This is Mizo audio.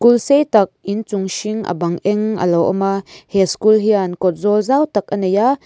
sei tak inchung hring a bang eng a lo awm a he school hian kawtzawl zau tak a nei a.